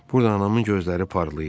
burada anamın gözləri parlayır.